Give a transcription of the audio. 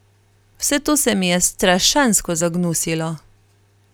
Vse to se mi je strašansko zagnusilo.